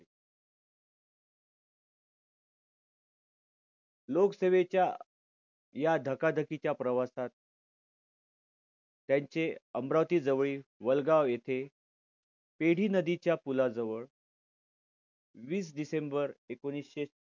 लोकसेवेच्या या धकाधकीच्या प्रवासात त्यांचे अमरावती जवळील वलगाव येथे पेढी नदीच्या पुलाजवळ वीस डिसेंबर एकोणविशे